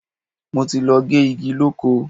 Mo ti lọ gé igi lóko.